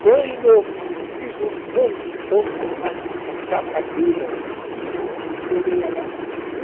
Quando eu fiz um montão de chapa direitinha, que ele ia lá.